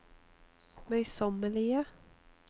møysommelige